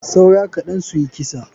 Saura kaɗan suyi kisa.